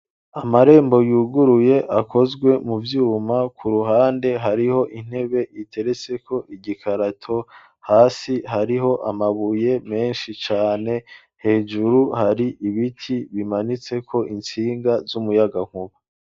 Amarembo yuguruye akozwe mu vyuma. Ku ruhande hariho intebe iteretseko igikarato, hasi hariho amabuye menshi cane, hejuru hari ibiti bimanitseko intsinga z'umuyagankuba.